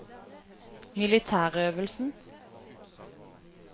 militærøvelsen